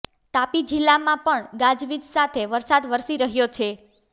તાપી જિલ્લામાં પણ ગાજવીજ સાથે વરસાદ વરસી રહ્યો છે